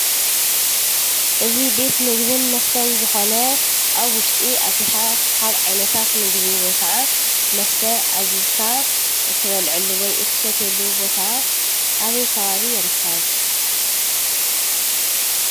እዚ ቤት ምግብን መስተን ዝኾነ ኣብ ውሽጢ ኣቲኻ ኻብ ዓይነታት ምግቢ ወይ ኸዓ መስተ ኣዚዝካ እትበልዐሉ ወይ እትሰትየሉ ቦታ ኣበይ ከባቢ ይርከብ?